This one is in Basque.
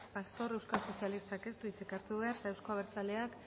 pastor euskal sozialistak ez du hitzik hartu behar eta euzko abertzaleak